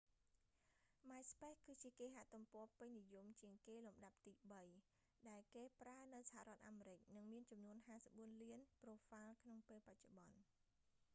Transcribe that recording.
myspace គឺជាគេហទំព័រពេញនិយមជាងគេលំដាប់ទីបី ដែលគេប្រើនៅសហរដ្ឋអាមេរិក និងមានចំនួន 54 លានប្រូហ្វាល់ក្នុងពេលបច្ចុប្បន្ន